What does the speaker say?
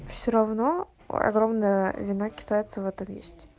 все равно огромная вина китайцев в этом есть